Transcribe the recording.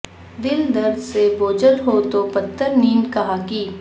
دل درد سے بوجھل ہو تو پھر نیند کہاں کی